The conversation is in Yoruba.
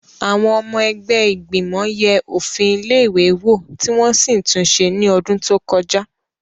Àwọn ọmọ ẹgbẹ́ ìgbìmọ̀ yẹ òfin ilé-ìwé wò tí wọ́n sì tún ṣe ní ọdún tó kọjá.